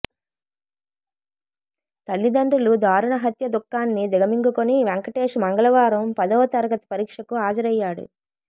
తల్లిదండ్రులు దారుణ హత్య దుఃఖాన్ని దిగమింగుకుని వెంకటేష్ మంగళవారం పదవ తరగతి పరీక్షకు హాజరయ్యాడు